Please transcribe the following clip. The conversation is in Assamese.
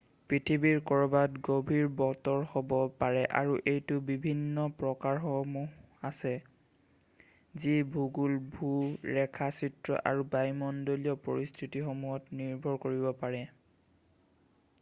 পৃথিৱীৰ ক'ৰবাত গম্ভীৰ বতৰ হ'ব পাৰে আৰু এইটোৰ বিভিন্ন প্ৰকাৰসমূহ আছে যি ভূগোল ভূ-ৰেখাচিত্ৰ আৰু বায়ুমণ্ডলীয় পৰিস্থতিসমূহত নিৰ্ভৰ কৰিব পাৰে৷